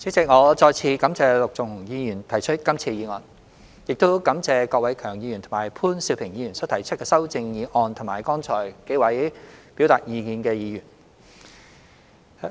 主席，我再次感謝陸頌雄議員提出今次議案，亦感謝郭偉强議員和潘兆平議員所提出的修正案及剛才幾位表達意見的議員。